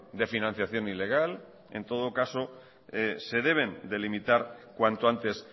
de financiación ilegal en todo caso se deben delimitar cuanto antes